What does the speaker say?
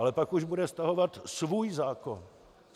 Ale pak už bude stahovat svůj zákon.